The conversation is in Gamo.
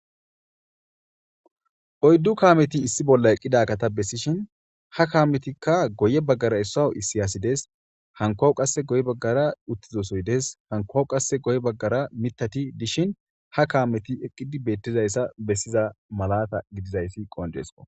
oyddu kaameti issi bolla eqqida kata bessishin ha kaametikka goye baggara issawu issiyasi dees hankowawu qasse goy baggara uttizosoy dees hankowawu qasse goye baggara mitati dishin ha kaameti eqqidi beettizayssa bessiza malata gidizayssi qonjeesko